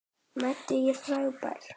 Mads er frábær.